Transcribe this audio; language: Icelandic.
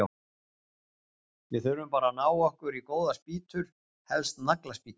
Við þurfum bara að ná okkur í góðar spýtur, helst nagla- spýtur!